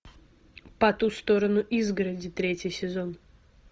по ту сторону изгороди третий сезон